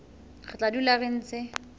re tla dula re ntse